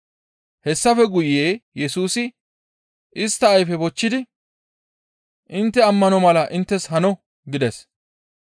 Hessafe guye Yesusi istta ayfe bochchidi, «Intte ammano mala inttes hano!» gides.